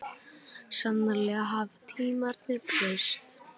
Sannarlega hafa tímarnir breyst.